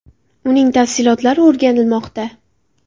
Uning tafsilotlari o‘rganilmoqda.